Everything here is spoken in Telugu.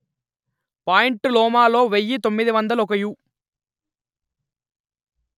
పాయింట్ లోమాలో వెయ్యి తొమ్మిది వందలు ఒక యు